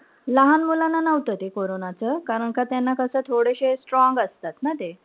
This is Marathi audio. लहान मुलांना नव्हतं ते कोरोनाच. कारण का त्यांना कशे थोडेशे strong असतात ना ते.